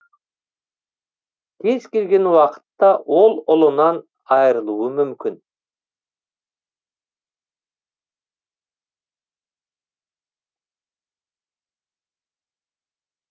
кез келген уақытта ол ұлынан айырылуы мүмкін